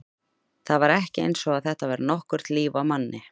Það var ekki eins og þetta væri nokkurt líf á manni.